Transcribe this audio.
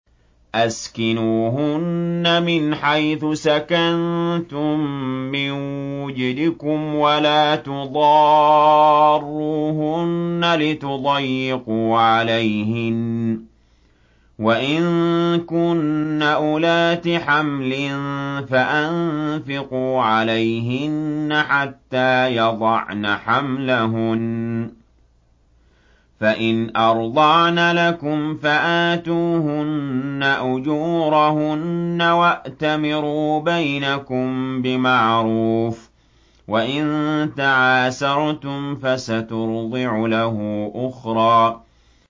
أَسْكِنُوهُنَّ مِنْ حَيْثُ سَكَنتُم مِّن وُجْدِكُمْ وَلَا تُضَارُّوهُنَّ لِتُضَيِّقُوا عَلَيْهِنَّ ۚ وَإِن كُنَّ أُولَاتِ حَمْلٍ فَأَنفِقُوا عَلَيْهِنَّ حَتَّىٰ يَضَعْنَ حَمْلَهُنَّ ۚ فَإِنْ أَرْضَعْنَ لَكُمْ فَآتُوهُنَّ أُجُورَهُنَّ ۖ وَأْتَمِرُوا بَيْنَكُم بِمَعْرُوفٍ ۖ وَإِن تَعَاسَرْتُمْ فَسَتُرْضِعُ لَهُ أُخْرَىٰ